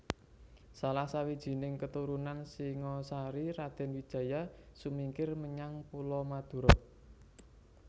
Salah sawijining keturunan Singasari Raden Wijaya sumingkir menyang Pulo Madura